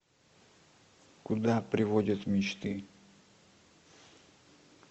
куда приводят мечты